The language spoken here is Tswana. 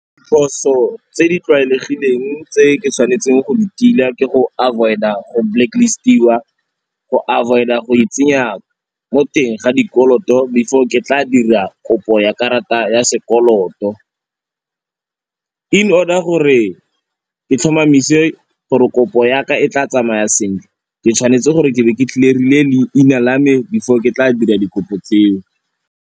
Diphoso tse di tlwaelegileng tse ke tshwanetseng go di tila ke go avoid-a go black list-iwa, go avoid-a go e tsenya mo teng ga dikoloto before ke tla dira kopo ya karata ya sekoloto. In order gore ke tlhomamise gore kopo ya ka e tla tsamaya sentle, ke tshwanetse gore ke be ke clear-ile leina la me before ke tla dira dikopo tseo.